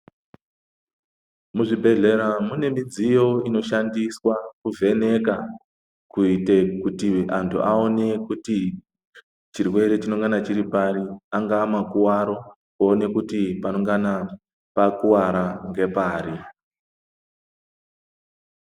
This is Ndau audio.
Muzvibhedhlera mune midziyo inoshandiswa kuvheneka kuyite kuti antu awone kuti chirwere chinongana chiri pari, angava makuwaro kuwone kuti panongana pakuwara ngepari.